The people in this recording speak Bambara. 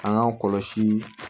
An k'an kɔlɔsi